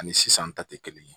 Ani sisan ta tɛ kelen